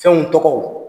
Fɛnw tɔgɔ